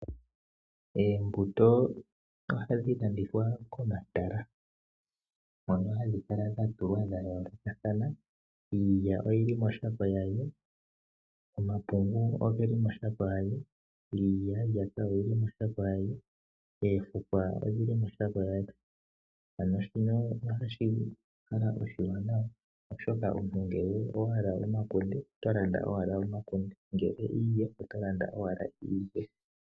Oombuto ohadhi landithwa komatala hono hadhi kala dha tulwa dha yoolokathana. Iilya oyili moshako yadho, Omapungu ogeli moshako yadho, iilyaalyaka oyili moshako yadho noofukwa odhili moshako yadho. Ano shino ohashi kala oshiwanawa oshoka omuntu ngele owahala omakunde ogo owala tolanda nongele owahala iilya oyo owala tolanda.